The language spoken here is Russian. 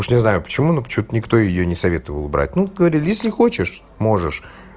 уж не знаю почему но почему-то никто её не советовал брать ну говорит если хочешь можешь